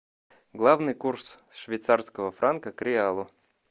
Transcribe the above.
главный курс швейцарского франка к реалу